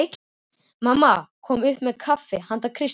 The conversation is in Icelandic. Mamma kom upp með kaffi handa Kristínu.